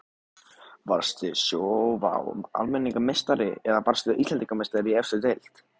Varstu Sjóvá Almennrar meistari eða varðstu Íslandsmeistari í efstu deild?